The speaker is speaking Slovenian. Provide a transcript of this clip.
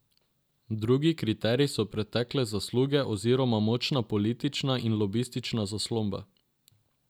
Drugi kriterij so pretekle zasluge oziroma močna politična in lobistična zaslomba.